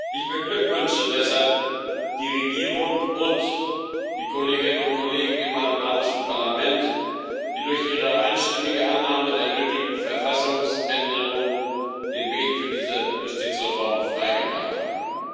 Ich beglückwünsche deshalb die Regierung und die Kolleginnen und Kollegen im albanischen Parlament, die durch ihre einstimmige Annahme der nötigen Verfassungsänderung den Weg für diese Justizreform frei gemacht haben.